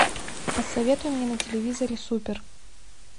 посоветуй мне на телевизоре супер